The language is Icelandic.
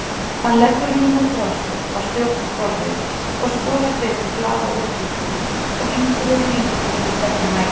Hann leggur línið frá sér á stjórnborðið og skoðar betur blaðaúrklippu sem einhver hefur límt á milli tveggja mæla.